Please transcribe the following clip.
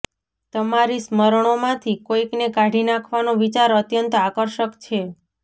તમારી સ્મરણોમાંથી કોઈકને કાઢી નાખવાનો વિચાર અત્યંત આકર્ષક છે